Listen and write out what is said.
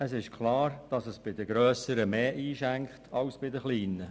Es ist klar, dass das bei den grösseren Unternehmungen mehr einschenkt als bei den kleinen.